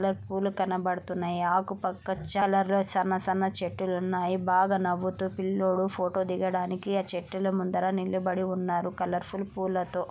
పూలు కనపడుతున్నాయి ఆకు చాల సన్న సన్న చెట్టులు ఉన్నాయి. బాగా నవ్వుతు పిల్లోడు ఫోటో దిగడానికి ఆ చెట్టుల ముందర నిలబడి ఉన్నారు కలర్ ఫుల్ పూల తో .